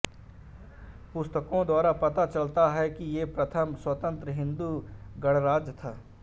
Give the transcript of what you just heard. पुस्तकों द्वारा पता चलता है कि ये प्रथम स्वतंत्र हिन्दू गणराज्य था